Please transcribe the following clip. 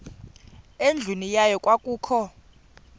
endlwini yayo kwakukho